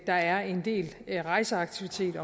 er en del rejseaktivitet i